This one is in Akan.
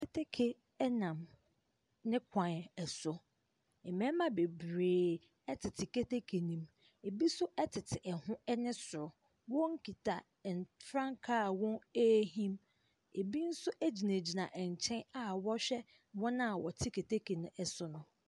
Keteke nam ne kwan so. Mmarima bebiree teteketeke no mu. Ebi nso tete ɛho ne soro. Wɔkita frankaa a wɔrehim. Ebi nso gyinagyina nkyɛn a wɔrehwɛ wɔn a wɔtete keteke no so no.